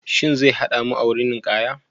Shin zai hada mu a wurin ninkaya?